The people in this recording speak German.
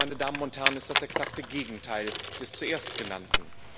Das, meine Damen und Herren, ist das exakte Gegenteil des zuerst Genannten.